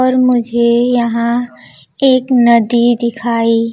पर मुझे यहां एक नदी दिखाई--